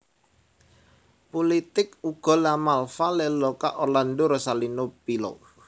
Pulitik Ugo La Malfa Leoluca Orlando Rosalino Pilo